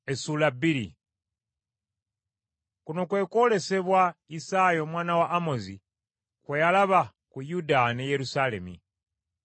Kuno kwe kwolesebwa Isaaya omwana wa Amozi kwe yalaba ku Yuda ne Yerusaalemi.